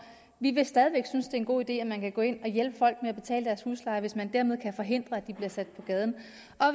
vi vil stadig væk synes det er en god idé at man kan gå ind og hjælpe folk med at betale deres husleje hvis man dermed kan forhindre at de bliver sat på gaden